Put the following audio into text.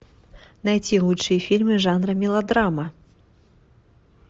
найти лучшие фильмы жанра мелодрама